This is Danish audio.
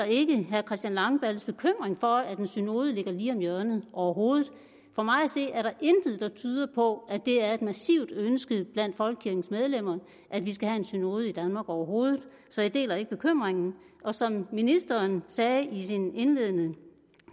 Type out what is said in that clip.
ikke herre christian langballes bekymring for at en synode ligger lige om hjørnet overhovedet for mig at se er der intet der tyder på at det er et massivt ønske blandt folkekirkens medlemmer at vi skal have en synode i danmark overhovedet så jeg deler ikke bekymringen og som ministeren sagde i sin indledende